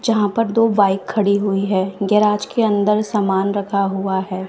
जहां पर दो बाइक खड़ी हुई है गैराज के अंदर सामान रखा हुआ है।